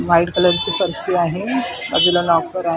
White कलरची फरशी आहे बाजूला लॉकर आहे.